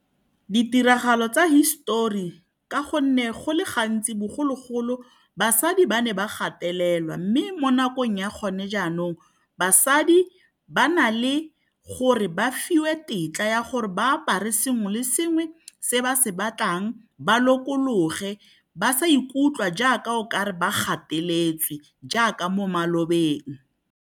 Ditiragalo tsa hisetori ka gonne go le gantsi, bogologolo basadi ba ne ba gatelelwa. Mme mo nakong ya gone jaanong, basadi ba na le go re ba fiwe tetla ya gore ba apare sengwe le sengwe se ba se batlang, ba lokologe ba sa ikutlwa jaaka okare ba gateletswe jaaka mo malobeng.